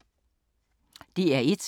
DR1